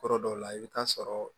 Kɔrɔ dɔw la i bɛ taa sɔrɔ